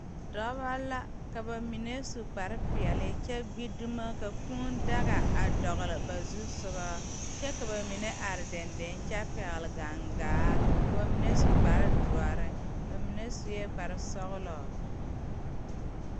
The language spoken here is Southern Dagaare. Dɔbɔ la ka ba mine su kparepeɛle kyɛ gbi dumo ka kūū daga a dɔgle ba zusugɔ kyɛ ka ba mine are deŋ deŋ kyɛ pɛgle gaŋgaa ka ba mine su kparedoɔre ba mine suee kparesɔglɔ.